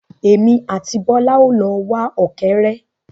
Èmi àti Bọ́lá o lọ wá ọ̀kẹ́ré.